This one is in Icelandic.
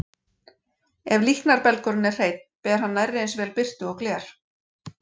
Ef líknarbelgurinn er hreinn, ber hann nærri eins vel birtu og gler.